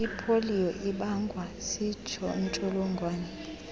ipoliyo ibangwa ziintsholongwane